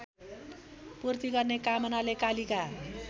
पूर्ति गर्ने कामनाले कालिका